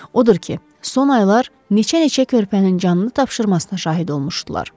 Odur ki, son aylar neçə-neçə körpənin canını tapşırmasına şahid olmuşdular.